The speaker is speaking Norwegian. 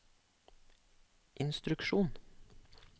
instruksjon